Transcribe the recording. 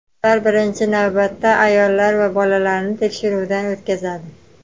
Ular birinchi navbatda ayollar va bolalarni tekshiruvdan o‘tkazadi.